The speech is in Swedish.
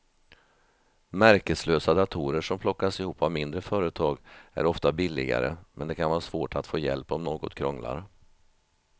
Märkeslösa datorer som plockas ihop av mindre företag är ofta billigare men det kan vara svårt att få hjälp om något krånglar.